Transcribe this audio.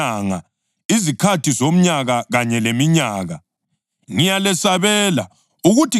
Ngiyalesabela, ukuthi ngenye indlela sengichithe imizamo yami kini.